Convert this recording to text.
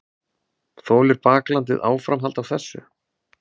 Þolir baklandið áframhald af þessu?